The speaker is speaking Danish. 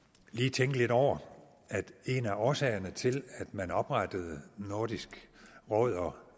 tænke lidt over at en af årsagerne til at man oprettede nordisk råd og